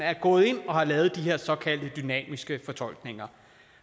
er gået ind og har lavet de her såkaldte dynamiske fortolkninger